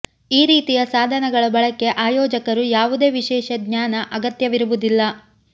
ಈ ರೀತಿಯ ಸಾಧನಗಳ ಬಳಕೆ ಆಯೋಜಕರು ಯಾವುದೇ ವಿಶೇಷ ಜ್ಞಾನ ಅಗತ್ಯವಿರುವುದಿಲ್ಲ